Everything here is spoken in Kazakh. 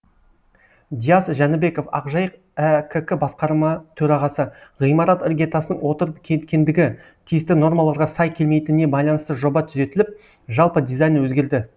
диас жәнібеков ақжайық әкк басқарма төрағасы ғимарат іргетасының отырып кеткендігі тиісті нормаларға сай келмейтініне байланысты жоба түзетіліп жалпы дизайны өзгерді